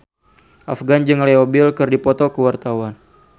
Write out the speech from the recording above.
Afgan jeung Leo Bill keur dipoto ku wartawan